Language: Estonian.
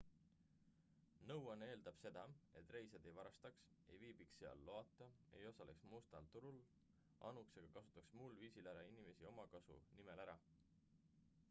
nõuanne eeldab seda et reisijad ei varastaks ei viibiks seal loata ei osaleks mustal turul anuks ega kasutaks muul viisil teisi inimesi omakasu nimel ära